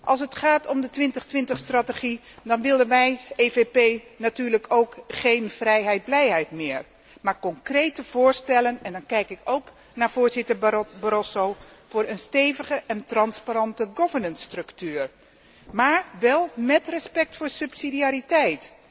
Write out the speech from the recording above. Als het gaat om de 2020 strategie, dan willen wij, PPE Fractie, natuurlijk ook geen vrijheid, blijheid meer, maar concrete voorstellen dan kijk ik ook naar voorzitter Barroso voor een stevige en transparante governance structuur, maar wel met respect voor de subsidiariteit.